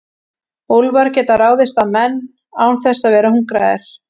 Úlfar geta ráðist á menn án þess að vera hungraðir.